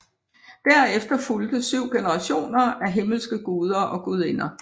Derefter fulgte syv generationer af himmelske guder og gudinder